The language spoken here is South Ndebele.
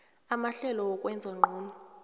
amahlelo wokwenza ngcono